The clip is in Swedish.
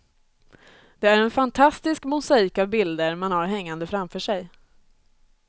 Det är en fantastisk mosaik av bilder man har hängande framför sig.